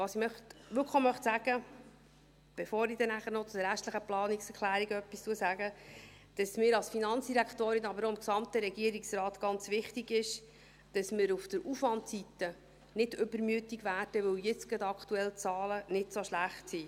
Was ich wirklich auch sagen möchte, bevor ich dann noch etwas zu den restlichen Planungserklärungen sagen werde, ist, dass es mir als Finanzdirektorin, aber auch dem gesamten Regierungsrat ganz wichtig ist, dass wir auf der Aufwandseite nicht übermütig werden, weil jetzt aktuell die Zahlen gerade nicht so schlecht sind.